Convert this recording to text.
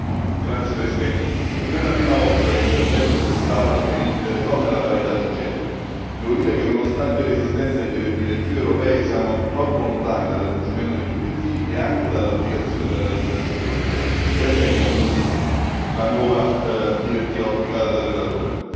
Signor Presidente, onorevoli colleghi, non è la prima volta che intervengo in quest'Aula sui diritti delle donne e la parità di genere. Devo dire che, nonostante l'esistenza di direttive europee, siamo troppo lontani dal raggiungimento degli obiettivi e anche dall'applicazione della legislazione europea. Ben venga quindi la nuova direttiva auspicata dal relatore.